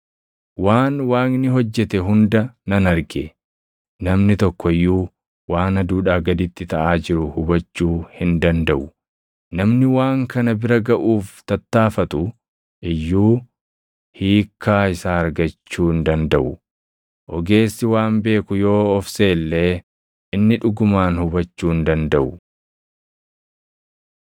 waan Waaqni hojjete hunda nan arge. Namni tokko iyyuu waan aduudhaa gaditti taʼaa jiru hubachuu hin dandaʼu. Namni waan kana bira gaʼuuf tattaaffatu iyyuu hiikkaa isaa argachuu hin dandaʼu. Ogeessi waan beeku yoo of seʼe illee inni dhugumaan hubachuu hin dandaʼu.